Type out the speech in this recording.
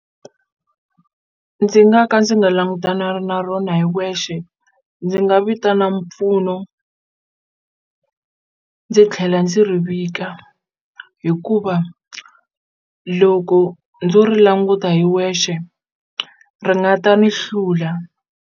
Ndzi nga ka ndzi nga na rona hi wexe ndzi nga vitana mpfuno ndzi tlhela ndzi ri vika hikuva loko ndzo ri languta hi wexe ri nga ta ni hlula.